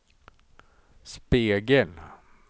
spegel